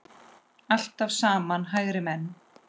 Allt saman hægri menn!